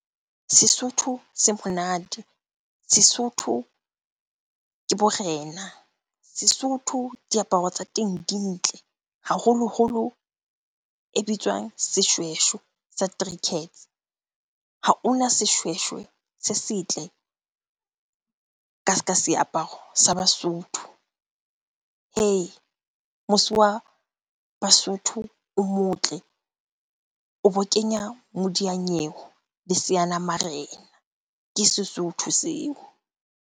Sesotho se monate. Sesotho ke borena. Sesotho, diaparo tsa teng di ntle. Haholoholo e bitswang seshweshwe sa . Ha ona seshweshwe se setle ka ska seaparo sa Basotho. Hei! Mose wa Basotho o motle, o bo kenya modiyanyewe le seanamarena. Ke Sesotho seo.